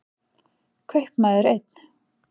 Kaupmaður einn.